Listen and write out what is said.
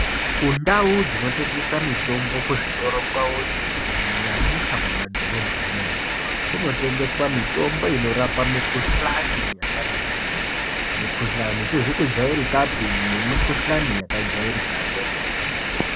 Kundau dzinotengesa mitombo kwavoyo kunyanyisa mumadhorobha munotengeswa mitombo inorapa mikuhlani yakati kuti mikhuhlani isizi kujairikapi nemikuhlani yakajairika.